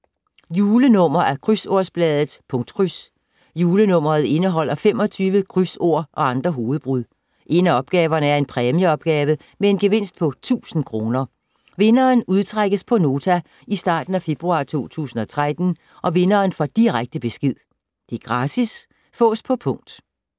Julenummer af krydsordsbladet Punktkryds. Julenummeret indeholder 25 krydsord og andre hovedbrud. En af opgaverne er en præmieopgave med en gevinst på 1000 kr. Vinderen udtrækkes på Nota i starten af februar 2013. Vinderen får direkte besked. Gratis. Fås på punkt